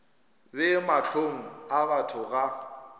be mahlong a batho ga